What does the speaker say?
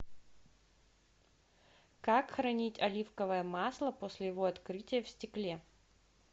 как хранить оливковое масло после его открытия в стекле